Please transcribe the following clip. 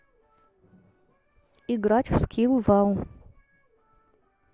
играть в скилл вау